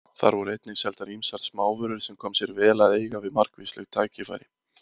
Þar voru einnig seldar ýmsar smávörur sem kom sér vel að eiga við margvísleg tækifæri.